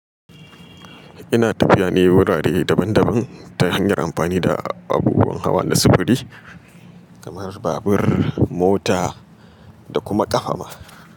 Ina tafiya ne wurare daban daban ta hanyar amfani da abubuwan hawa na sufuri kamar babur, mota da kuma ƙafa ma.